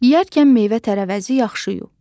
Yeyərkən meyvə-tərəvəzi yaxşı yu.